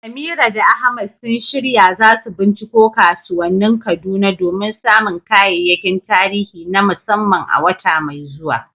Amira da Ahmad sun shirya za su binciko kasuwannin Kaduna domin samun kayayyakin tarihi na musamman a wata mai zuwa.